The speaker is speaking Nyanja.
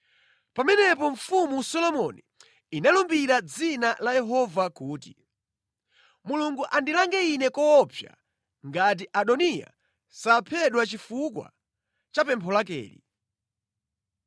Pamenepo Mfumu Solomoni inalumbira mʼdzina la Yehova kuti, “Mulungu andilange ine koopsa ngati Adoniya saphedwa chifukwa cha pempho lakeli!